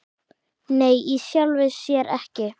Nei í sjálfu sér ekki.